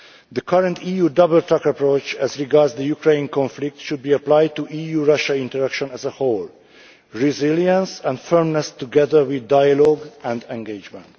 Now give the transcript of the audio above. The current EU double track approach as regards the Ukraine conflict should be applied to EU Russia interaction as a whole resilience and firmness, together with dialogue and engagement.